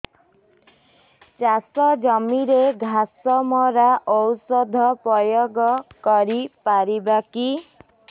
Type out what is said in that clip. ଚାଷ ଜମିରେ ଘାସ ମରା ଔଷଧ ପ୍ରୟୋଗ କରି ପାରିବା କି